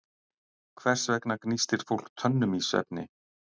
Hvers vegna gnístir fólk tönnum í svefni?